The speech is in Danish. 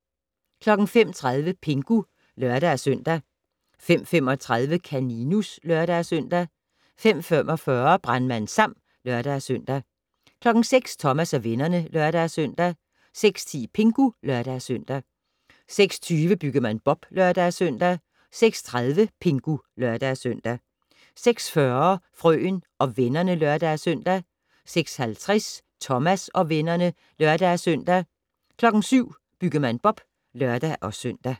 05:30: Pingu (lør-søn) 05:35: Kaninus (lør-søn) 05:45: Brandmand Sam (lør-søn) 06:00: Thomas og vennerne (lør-søn) 06:10: Pingu (lør-søn) 06:20: Byggemand Bob (lør-søn) 06:30: Pingu (lør-søn) 06:40: Frøen og vennerne (lør-søn) 06:50: Thomas og vennerne (lør-søn) 07:00: Byggemand Bob (lør-søn)